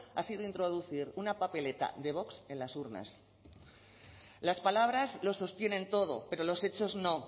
ha sido introducir una papeleta de vox en las urnas las palabras lo sostienen todo pero los hechos no